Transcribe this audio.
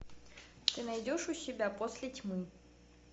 ты найдешь у себя после тьмы